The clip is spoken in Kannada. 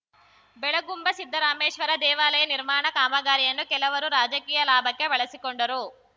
ಬೆಳಗುಂಬ ಸಿದ್ದರಾಮೇಶ್ವರ ದೇವಾಲಯ ನಿರ್ಮಾಣ ಕಾಮಗಾರಿಯನ್ನು ಕೆಲವರು ರಾಜಕೀಯ ಲಾಭಕ್ಕೆ ಬಳಸಿಕೊಂಡರು